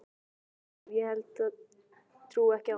guð sem ég held ég trúi ekki á.